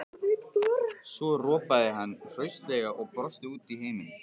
Svo ropaði hann hraustlega og brosti út í heiminn.